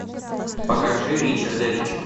покажи ричарда рича